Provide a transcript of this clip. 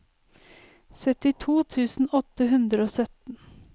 syttito tusen åtte hundre og sytten